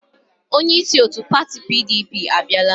Onyeisi otu pati PDP abiala.